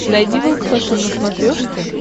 найди волд фэшен на смотрешке